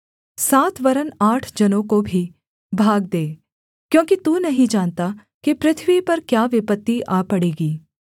सात वरन् आठ जनों को भी भाग दे क्योंकि तू नहीं जानता कि पृथ्वी पर क्या विपत्ति आ पड़ेगी